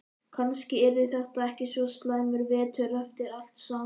Kannski yrði þetta ekki svo slæmur vetur eftir allt saman.